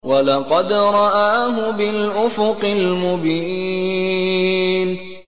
وَلَقَدْ رَآهُ بِالْأُفُقِ الْمُبِينِ